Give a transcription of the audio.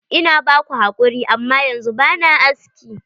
Ina ba ku hakuri, amma yanzu ba na aski.